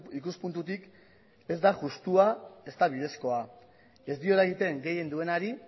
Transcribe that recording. ikuspuntutik ez da justua ez da bidezkoa ez diola egiten gehien duenari